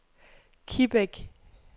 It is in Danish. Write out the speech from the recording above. Kibæk